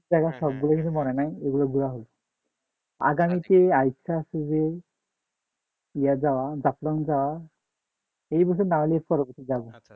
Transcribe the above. সব গুলো কথা মনে নাই এগুলো ঘোড়া হইছে আগামীতে আর ইচ্ছা আছে যে এ যাওয়া জাফলং যাওয়ার